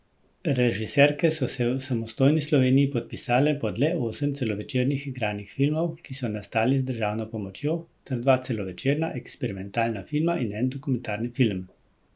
Režiserke so se v samostojni Sloveniji podpisale pod le osem celovečernih igranih filmov, ki so nastali z državno pomočjo, ter dva celovečerna eksperimentalna filma in en dokumentarni film.